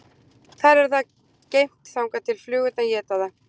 Þar er það geymt þangað til flugurnar éta það.